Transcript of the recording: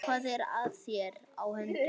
Hvað er þér á höndum?